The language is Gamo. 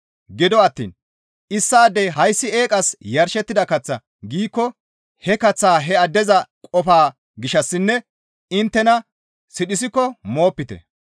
Gido attiin issaadey, «Hayssi eeqas yarshettida kaththa» giikko he kaththaa he addeza qofaa gishshassinne inttena sidhiskko moopite.